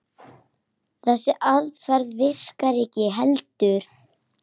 Þessi aðferð virkar ekki heldur.